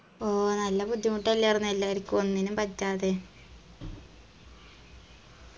ആ നല്ല ബുദ്ധിമുട്ടെല്ലാർന്നോ എല്ലാരിക്കും ഒന്നിനും പറ്റാതെ